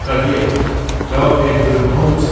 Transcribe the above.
Lekodye, cavab ver görüm nə olub sənə?